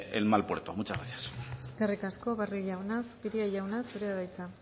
en mal puerto muchas gracias eskerrik asko barrio jauna zupiria jauna zurea da hitza